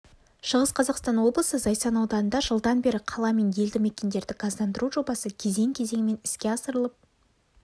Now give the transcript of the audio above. шығыс қазақстан облысы зайсан ауданында жылдан бері қала мен елді мекендерді газдандыру жобасы кезең-кезеңімен іске асырылып